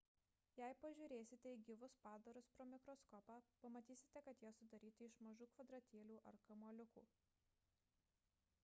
jei pažiūrėsite į gyvus padarus pro mikroskopą pamatysite kad jie sudaryti iš mažų kvadratėlių ar kamuoliukų